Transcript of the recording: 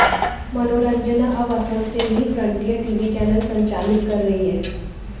मनोरंजना अब असम से ही फ्रंटियर टीवी चैनल संचालित कर रही हैं